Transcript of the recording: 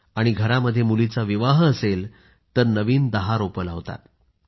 आणि घरामध्ये मुलीचा विवाह असेल तर नवीन 10 झाडं लावतात